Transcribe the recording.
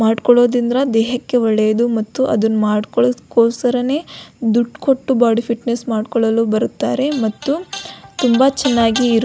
ಮಾಡ್ಕೋಳೊದಿಂದ್ರ ದೇಹಕ್ಕೆ ಒಳ್ಳೆಯದು ಮತ್ತು ಅದನ್ನ ಮಾಡಕೊಳ್ಳೊಕೋಸ್ಕರನೇ ದುಡ್ ಕೊಟ್ಟ ಬಾಡಿ ಫಿಟ್ನೆಸ್ ಮಾಡಕೊಳ್ಳಲು ಬರುತ್ತಾರೆ ಮತ್ತು ತುಂಬಾ ಚನ್ನಾಗಿ ಇರು --